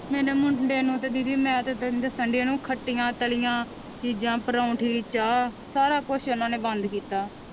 ਮੇਰੇ ਮੁੰਡੇ ਨੂੰ ਤੇ ਦੀਦੀ ਮੈਂ ਤੇ ਤੈਨੂੰ ਦੱਸਣਡੀ ਇਹਨੂੰ ਖੱਟੀਆਂ ਤਲੀਆਂ ਚੀਜ਼ਾਂ ਪਰੋਂਠੇ ਚਾਹ ਸਾਰਾ ਕੁਛ ਉਹਨਾਂ ਨੇ ਬੰਦ ਕੀਤਾ।